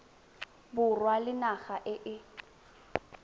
borwa le naga e e